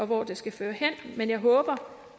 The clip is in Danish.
hvor det skal føre hen men jeg håber